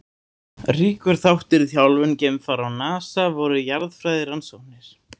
Ríkur þáttur í þjálfun geimfara hjá NASA voru jarðfræðirannsóknir.